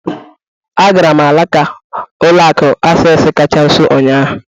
Agara m alaka ụlọ akụ Access kacha nso ụnyahụ.